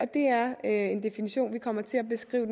det er en definition vi kommer til at beskrive